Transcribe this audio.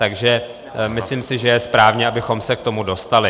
Takže si myslím, že je správně, abychom se k tomu dostali.